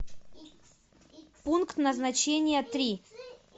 пункт назначения три